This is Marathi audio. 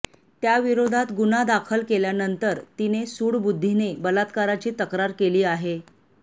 त्याविरोधात गुन्हा दाखल केल्यानंतर तिने सूडबुद्धीने बलात्काराची तक्रार केली आहे